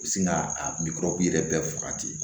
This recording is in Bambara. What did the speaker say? U bɛ sin ka a murakun yɛrɛ bɛɛ faga ten